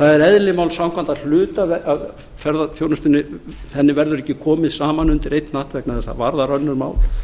það er eðli máls samkvæmt að hluti af ferðaþjónustu verður ekki komið saman undir einn hatt vegna þess að þau varða önnur mál